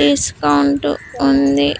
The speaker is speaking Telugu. డిస్కౌంట్ ఉంది.